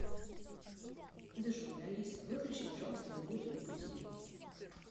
джой алиса выключи пожалуйста мелодию на будильнике